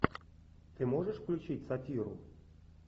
ты можешь включить сатиру